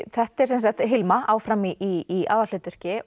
þetta er sem sagt Hilma áfram í í aðalhlutverki